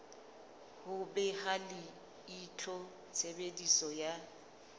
ho beha leihlo tshebediso ya